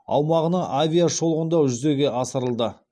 аумағына авиашолғындау жүзеге асырылды